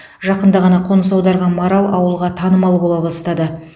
жақында ғана қоныс аударған марал ауылға танымал бола бастады